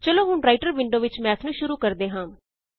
ਚਲੋ ਹੁਣ writer window ਵਿੱਚ ਮੈਥ ਨੂੰ ਸ਼ੁਰੂ ਕਰਦੇ ਹਾਂ